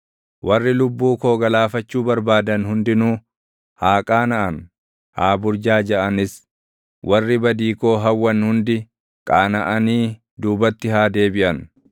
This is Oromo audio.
Warri lubbuu koo galaafachuu barbaadan hundinuu, haa qaanaʼan; haa burjaajaʼanis. Warri badii koo hawwan hundi, qaanaʼanii duubatti haa deebiʼan.